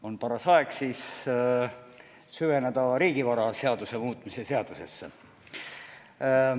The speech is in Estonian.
On paras aeg süveneda riigivaraseaduse muutmise seadusesse.